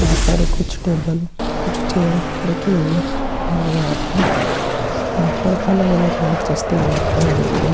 यहाँ पर कुछ टेबल कुछ चेयर रखी हुई नजर आ रही है यहाँ पर अलग-अलग लाइट जचती हुई दिखाई दे रही है ।